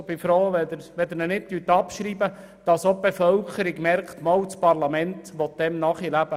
Ich bin froh, wenn Sie ihn nicht abschreiben, damit auch die Bevölkerung merkt, dass das Parlament dem nachleben will.